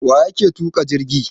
Waƴake tuka jirgi?